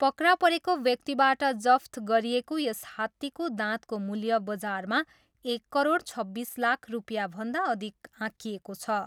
पक्रा परेको व्यक्तिबाट जफ्त गरिएको यस हात्तीको दाँतको मूल्य बजारमा एक करोड छब्बिस लाख रुपियाँभन्दा अधिक आँकिएको छ।